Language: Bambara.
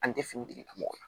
An tɛ fini degun